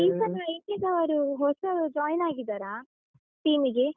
ಈ ಸಲ India ದವ್ರು ಹೊಸಬರು join ಆಗಿದ್ದಾರಾ team ಗೆ?